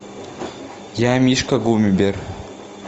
я мишка гумибер